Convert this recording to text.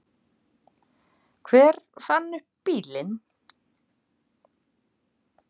Hver fann upp bílinn?